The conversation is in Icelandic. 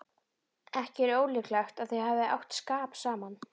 Ekki er ólíklegt að þau hafi átt skap saman.